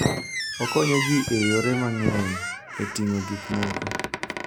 Okonyo ji e yore mang'eny e ting'o gik moko.